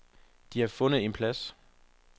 De har fundet en plads.